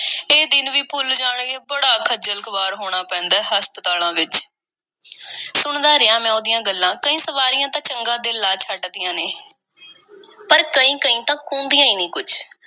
ਇਹ ਦਿਨ ਵੀ ਭੁੱਲ ਜਾਣਗੇ, ਬੜਾ ਖ਼ੱਜਲ-ਖੁਆਰ ਹੋਣਾ ਪੈਂਦਾ ਏ ਹਸਪਤਾਲਾਂ ਵਿੱਚ। ਸੁਣਦਾ ਰਿਹਾ, ਮੈਂ ਉਹਦੀਆਂ ਗੱਲਾਂ। ਕਈ ਸਵਾਰੀਆਂ ਤਾਂ ਚੰਗਾ ਦਿਲ ਲਾ ਛੱਡਦੀਆਂ ਨੇ, ਪਰ ਕਈ-ਕਈ ਤਾਂ ਕੂੰਦੀਆਂ ਈ ਨਹੀਂ ਕੁੱਝ।